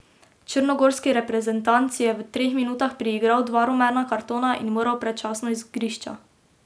Črnogorski reprezentant si je v treh minutah priigral dva rumena kartona in moral predčasno z igrišča.